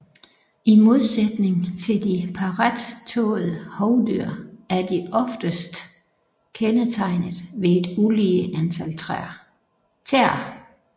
I modsætning til de parrettåede hovdyr er de oftest kendetegnet ved et ulige antal tæer